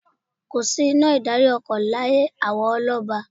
Kò sí iná ìdarí-ọkọ̀ láyé àwọn ọlọ́ba.